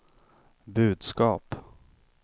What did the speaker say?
budskap